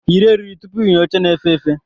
Yiri eriri tupu ịnya oche na-efe efe!